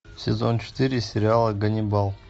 сезон четыре сериала ганнибал